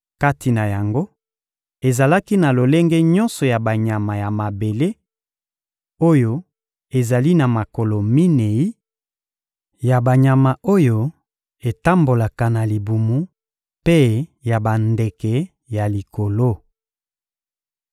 Kati na yango, ezalaki na lolenge nyonso ya banyama ya mabele, oyo ezali na makolo minei; ya banyama oyo etambolaka na libumu mpe ya bandeke ya likolo.